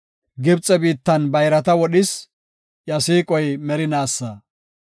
Gibxe biittan bayrata wodhis; iya siiqoy merinaasa.